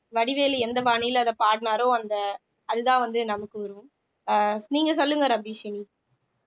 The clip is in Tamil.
வடிவேலு எந்த பாணியில அத பாடினாரோ அந்த அதுதான் வந்து நமக்கு வரும் அஹ் நீங்க சொல்லுங்க ரபீஷின்